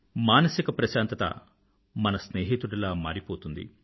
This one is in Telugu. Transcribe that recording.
మానసిక ప్రశాంతత మన స్నేహితుడిలా మారిపోతుంది